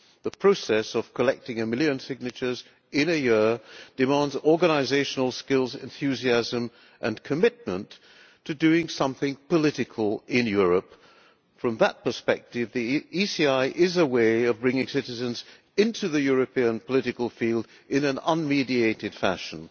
The process of collecting a million signatures in a year demands organisational skills, enthusiasm and commitment to doing something political in Europe. From that perspective the ECI is a way of bringing citizens into the European political field in an unmediated fashion.